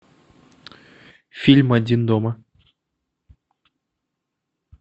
фильм один дома